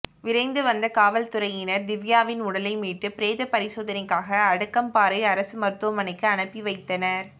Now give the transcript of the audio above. விரைந்து வந்த காவல்துறையினர் திவ்யாவின் உடலை மீட்டு பிரேத பரிசோதனைக்காக அடுக்கம்பாறை அரசு மருத்துவமனைக்கு அனுப்பி வைத்தனர்